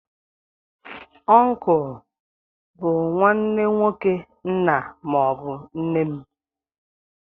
Ọncle bụ nwanne nwoke nna maọbu nne m.